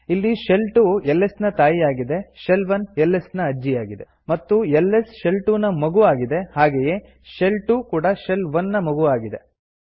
ಇಲ್ಲಿ shell 2 s ನ ತಾಯಿ ಆಗಿದೆ ಶೆಲ್ 1 ಇಸ್ ನ ಅಜ್ಜಿಯಾಗಿದೆ ಮತ್ತು ಎಲ್ಎಸ್ ಶೆಲ್ 2 ನ ಮಗು ಆಗಿದೆ ಹಾಗೆಯೇ ಶೆಲ್ 2 ಕೂಡಾ ಶೆಲ್ 1 ನ ಮಗು ಆಗಿದೆ